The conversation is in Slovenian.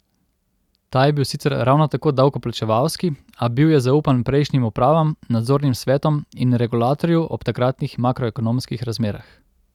Ta je bil sicer ravno tako davkoplačevalski, a bil je zaupan prejšnjim upravam, nadzornim svetom in regulatorju ob takratnih makroekonomskih razmerah.